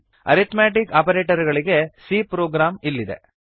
arithmetic operator ಗಳಿಗೆ c program ಇಲ್ಲಿದೆ